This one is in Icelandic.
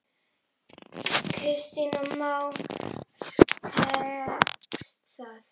Kristján Már: Tekst það?